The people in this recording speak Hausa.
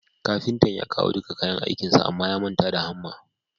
Kafintan ya kawo dika kayan aikinsa Amma ya manta da hamma